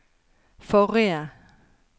forrige